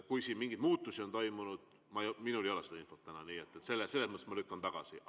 Kui siin mingeid muutusi on toimunud, siis minul ei ole seda infot, nii et selles mõttes ma lükkan tagasi.